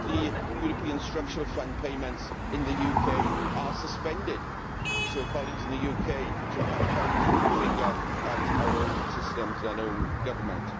Currently, European Structural Funds payments in the UK are suspended, so colleagues in the UK should perhaps point the finger at our own systems and our own Government.